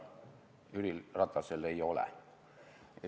Jüri Ratasel ei ole.